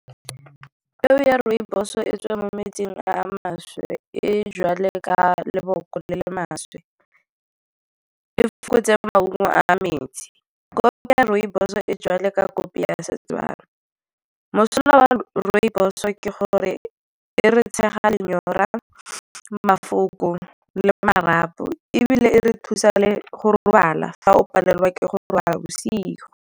Peo ya rooibos e tswa mo metsing a maswe. E jwalo leboko le le maswe. E maungo a metsi. Kopi ya rooibos e jwalo kopi ya seTswana. Mosola wa rooibos-o ke gore e re tshega lenyora, mafoko le marapo, ebile e re thusa le go robala fa o palelwa ke go robala bosigo.